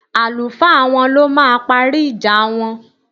Àlùfáà wọn ló máa parí ìjà wọn